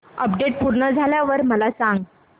update पूर्ण झाल्यावर मला सांग